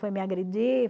Foi me agredir?